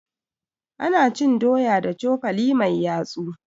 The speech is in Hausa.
Ana cin doya da cokali mai yatsu.